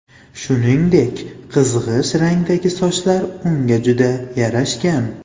Shuningdek, qizg‘ish rangdagi sochlar unga juda yarashgan.